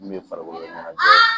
N'u ye farikolo ɲɛnajɛ